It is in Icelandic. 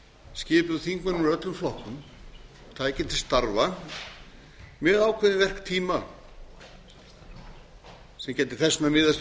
skipuð þingmönnum úr öllum flokkum tæki til starfa með ákveðinn verktíma sem gæti þess vegna miðast